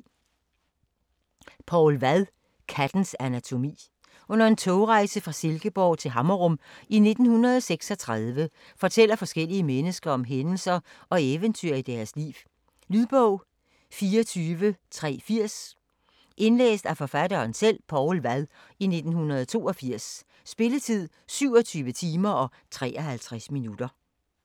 Vad, Poul: Kattens anatomi Under en togrejse fra Silkeborg til Hammerum i 1936 fortæller forskellige mennesker om hændelser og eventyr i deres liv. Lydbog 24380 Indlæst af Poul Vad, 1982. Spilletid: 27 timer, 53 minutter.